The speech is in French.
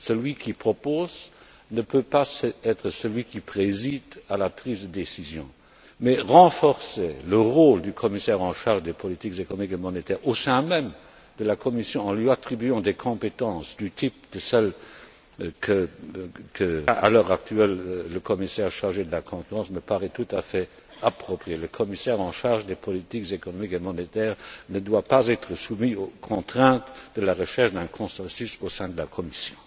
Celui qui propose ne peut pas être celui qui préside à la prise de décision. Mais renforcer le rôle du commissaire en charge des politiques économiques et monétaires au sein même de la Commission en lui attribuant des compétences du type de celles dont dispose, à l'heure actuelle, le commissaire chargé de la concurrence me paraît tout à fait approprié. Le commissaire en charge des politiques économiques et monétaires ne doit pas être soumis aux contraintes liées à la recherche d'un consensus au sein de la Commission.